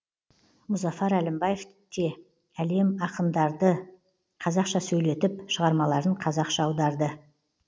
мұзафар әлімбаев те әлем ақындарды қазақша сөйлетіп шығармаларын қазақша аударды